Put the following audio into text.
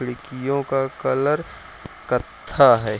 खिड़कियों का कलर कत्था है |